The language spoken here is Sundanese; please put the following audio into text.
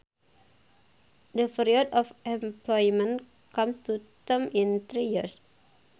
The period of employment comes to term in three years